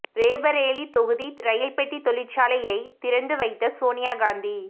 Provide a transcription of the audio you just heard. ரேபரேலி தொகுதி ரெயில்பெட்டி தொழிற்சாலையை திறந்து வைத்த சோனியா காந்தி